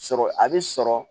Sɔrɔ a bi sɔrɔ